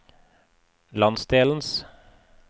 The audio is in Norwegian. landsdelens